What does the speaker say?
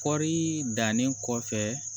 Kɔɔri dannen kɔfɛ